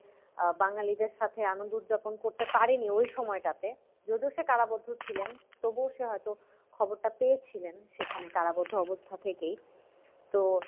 আহ বাঙ্গালীদের সাথে আনন্দ উদযাপন করতে পারিনি ওই সময়টাতে যদিও সে কারাবদ্ধ ছিলেন তবুও সে হয়তো খবরটা পেয়েছিলেন সেখানে কারাবদ্ধ অবস্থা থেকেই তো,